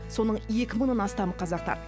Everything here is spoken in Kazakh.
соның екі мыңнан астамы қазақтар